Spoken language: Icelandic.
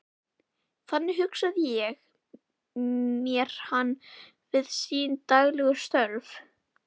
Þannig hugsaði ég mér hann við sín daglegu störf.